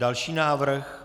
Další návrh.